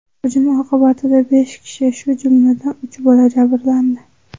Hujum oqibatida besh kishi, shu jumladan, uch bola jabrlandi.